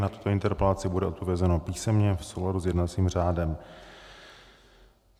Na tuto interpelaci bude odpovězeno písemně v souladu s jednacím řádem.